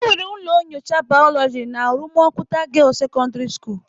Enwere ụlọ nyocha biology na rumuokuwta girls secondary school.